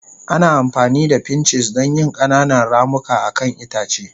Ana amfani da pinches don yin ƙananan ramuka akan itace.